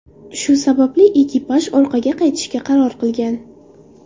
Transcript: Shu sababli ekipaj orqaga qaytishga qaror qilgan.